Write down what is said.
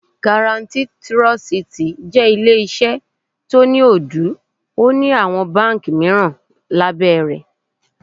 Garatí Tirọsitì jẹ́ ilé iṣẹ́ tó ń Ódù, ó ní àwọn báńkì mìíràn lábẹ́ rẹ̀.